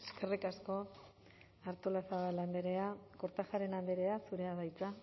eskerrik asko artolazabal andrea kortajarena andrea zurea da hitza